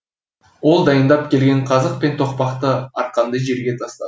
ол дайындап келген қазық пен тоқпақты арқанды жерге тастады